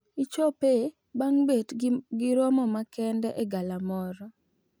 Ichope bang` bet gi romo makende e galamoro.